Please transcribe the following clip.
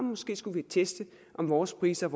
måske skulle vi teste om vores priser